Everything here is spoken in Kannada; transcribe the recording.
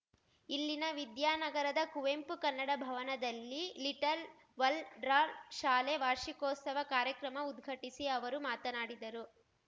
ಇಲ್ಲಿನ ವಿದ್ಯಾನಗರದ ಕುವೆಂಪು ಕನ್ನಡ ಭವನದಲ್ಲಿ ಲಿಟಲ್‌ ವಲ್ ಡ್ರಾ ಶಾಲೆ ವಾರ್ಷಿಕೋತ್ಸವ ಕಾರ್ಯಕ್ರಮ ಉದ್ಘಾಟಿಸಿ ಅವರು ಮಾತನಾಡಿದರು